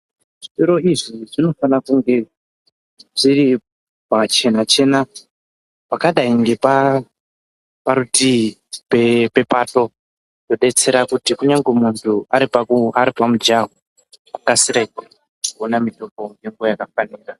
Zvitoro izvi zvinofana kunge zviri pachena chena pakadai ngeparutii pepato kudetsera kuti unyangwe muntu aripa mujaho akasire kuona mutombo ngenguwa yakafanira.